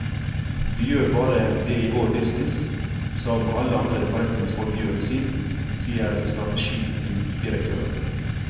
Vi gjør bare det i vår business som alle andre forretningsfolk gjør i sin, sier strategidirektøren.